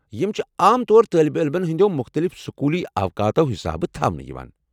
یم چھِ عام طور طٲلب علمن ہٕنٛدِیو مُختلِف سکولی اوقاتو حسابہٕ تھاونہٕ یوان۔